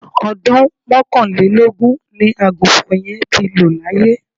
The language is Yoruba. Ọdún mọ́kànlélógún ni Àgùnfọn yẹn ti lọ laye